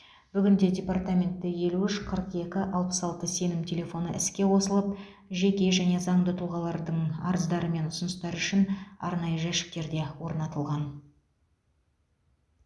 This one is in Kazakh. бүгінде департаментте елу үш қырық екі алпыс алты сенім телефоны іске қосылып жеке және заңды тұлғалардың арыздары мен ұсыныстары үшін арнайы жәшіктер де орнатылған